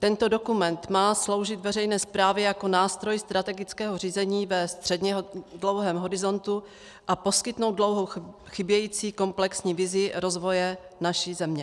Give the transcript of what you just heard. Tento dokument má sloužit veřejné správě jako nástroj strategického řízení ve středně dlouhém horizontu a poskytnout dlouho chybějící komplexní vizi rozvoje naší země.